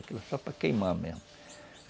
Aquilo é só para queimar mesmo.